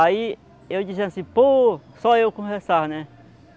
Aí eu dizia assim, pô, só eu conversava, né?